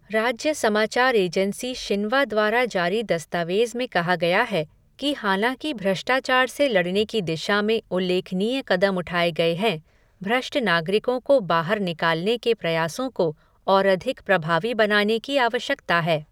राज्य समाचार agency Xinhua द्वारा जारी दस्तावेज़ में कहा गया है कि हालाँकि भ्रष्टाचार से लड़ने की दिशा में उल्लेखनीय कदम उठाए गए हैं, भ्रष्ट नागरिकों को बाहर निकालने के प्रयासों को और अधिक प्रभावी बनाने की आवश्यकता है।